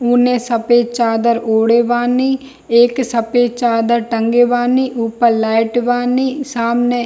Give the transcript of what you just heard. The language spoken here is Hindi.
उने सफ़ेद चादर ओढ़े बानी | एक सफ़ेद चादर टंगे बानी | ऊपर लाइट बानी सामने --